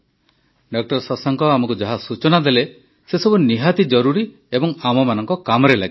ଡା ଶଶାଙ୍କ ଆମକୁ ଯାହା ସୂଚନା ଦେଲେ ସେସବୁ ନିହାତି ଜରୁରୀ ଏବଂ ଆମମାନଙ୍କ କାମରେ ଲାଗିବ